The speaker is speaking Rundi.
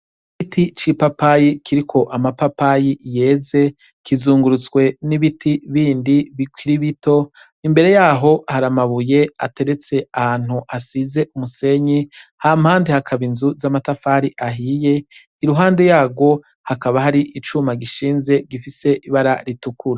Giti c'i papayi kiriko amapapayi yeze kizungurutswe n'ibiti bindi bikiribito imbere yaho haramabuye ateretse ahantu asize umusenyi ha mpandi hakaba inzu z'amatafari ahiye i ruhande yarwo hakaba hari icuma gishinze gifise ibara ritukuru.